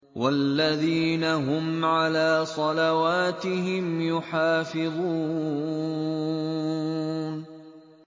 وَالَّذِينَ هُمْ عَلَىٰ صَلَوَاتِهِمْ يُحَافِظُونَ